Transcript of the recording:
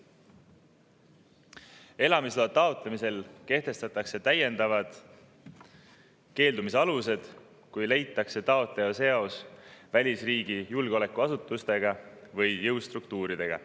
Kehtestatakse täiendavad elamisloa keeldumise alused:, kui leitakse taotleja seos välisriigi julgeolekuasutustega või jõustruktuuridega.